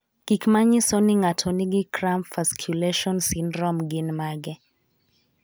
Gik manyiso ni ng'ato nigi cramp fasciculation syndrome gin mage?